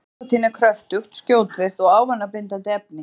Nikótín er kröftugt, skjótvirkt og ávanabindandi efni.